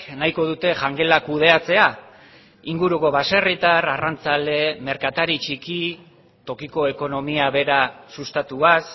nahiko dute jangela kudeatzea inguruko baserritar arrantzale merkatari txiki tokiko ekonomia bera sustatuaz